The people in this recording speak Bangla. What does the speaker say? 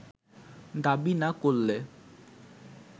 দাবি না করলে